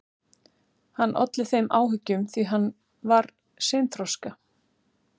Hann olli þeim áhyggjum því að hann var seinþroska.